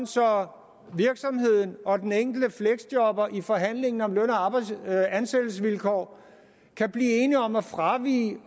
så virksomheden og den enkelte fleksjobber i forhandlingen om løn og ansættelsesvilkår kan blive enige om at fravige